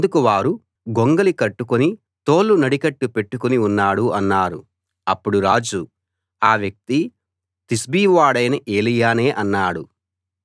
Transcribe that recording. అందుకు వారు అతడు గొంగళి కట్టుకుని తోలు నడికట్టు పెట్టుకుని ఉన్నాడు అన్నారు అప్పుడు రాజు ఆ వ్యక్తి తిష్బీ వాడైన ఏలీయానే అన్నాడు